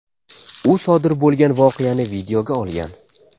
U sodir bo‘lgan voqeani videoga olgan.